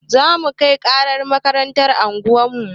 Zamu kai ƙarar makarantar unguwarmu